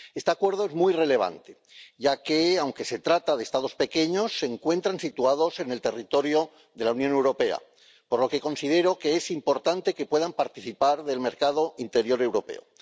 Este Acuerdo es muy relevante, ya que, aunque se trata de Estados pequeños, se encuentran situados en el territorio de la Unión Europea, por lo que considero que es importante que puedan participar del mercado interior europeo.